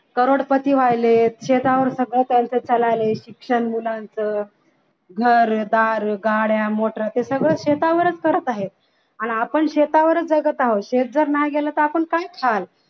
करोडपती व्हायलेत शेतावर सगळं त्यांचं चाललय शिक्षण मुलांच घरदार गाड्या मोटर हे सगळं शेतावरच करत आहेत आणि आपण शेतावरच जगत आहोत तर आपण नाही गेले तर आपण काय खाल